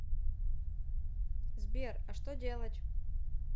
сбер а что делать